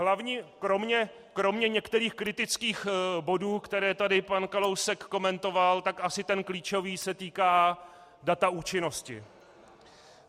Hlavní kromě některých kritických bodů, které tady pan Kalousek komentoval, tak asi ten klíčový se týká data účinnosti.